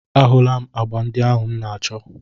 A hụla m agbà ndị ahụ m na-achọ